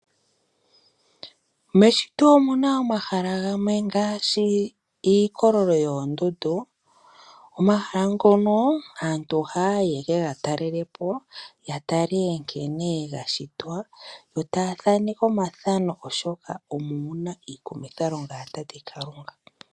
Meshito omuna omahala gamwe ngaashi iikololo yoondundu . Aantu ohaya yi yaka talelepo omahala ngono, yatale nkene gashitwa, yotaya kwata omafano oshoka omo muna iikumithalonga ya Tate Kalunga.